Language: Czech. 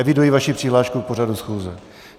Eviduji vaši přihlášku k pořadu schůze.